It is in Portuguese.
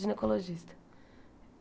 Ginecologista.